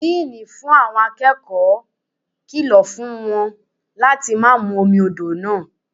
Díínì fún àwọn akẹ́kọ̀ọ́ kìlọ̀ fún wa láti má mú omi odò náà.